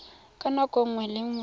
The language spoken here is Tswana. ka nako nngwe le nngwe